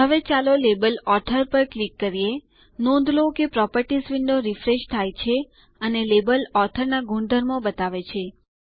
હવે ચાલો label author ઉપર ક્લિક કરીએ નોંધ લો કે પ્રોપર્ટીઝ વિન્ડો રિફ્રેશ થાય છે અને લેબલ ઓથોર ના ગુણધર્મો બતાવે છે